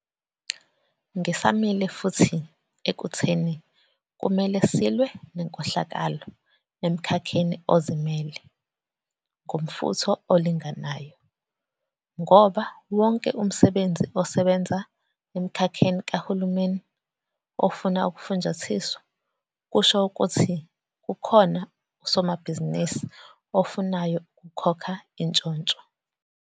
Ngisamile futhi ekutheni kumele silwe nenkohlakalo emkhakheni ozimele ngomfutho olinganayo, ngoba wonke umsebenzi osebenza emkhakheni kahulumeni ofuna ukufunjathiswa, kusho ukuthi kukhona usomabhizinisi ofunayo ukukhokha intshontsho.